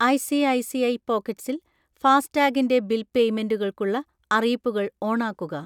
ഐ.സി.ഐ.സി.ഐ പോക്കറ്റ്‌സിൽ ഫാസ്ടാഗിൻ്റെ ബിൽ പേയ്മെന്റുകൾക്കുള്ള അറിയിപ്പുകൾ ഓണാക്കുക.